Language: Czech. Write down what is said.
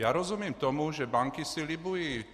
Já rozumím tomu, že banky si libují.